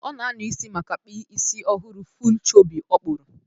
Ọ na-anya isi maka kp isi ọhụrụ full chobby ọ kpuru